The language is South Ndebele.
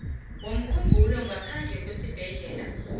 womkhumbulo ngaphandle kwesibhedlela